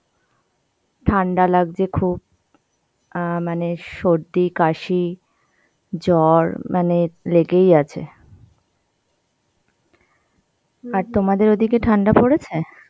ঠান্ডা লাগছে খুব. অ্যাঁ মানে সর্দি, কাশি, জ্বর মানে লেগেই আছে. আর তোমাদের ওদিকে ঠান্ডা পরেছে?